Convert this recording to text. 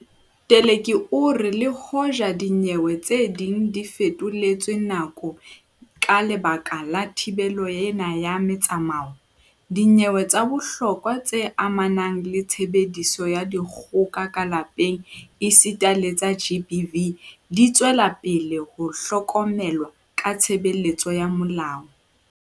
Teleki o re le hoja dinyewe tse ding di fetoletswe nako ka lebaka la thibelo ena ya metsamao, dinyewe tsa bohlokwa tse amanang le tshebediso ya dikgoka ka lapeng esita le tsa GBV di tswela pele ho hlokomelwa ke tshebeletso ya molao.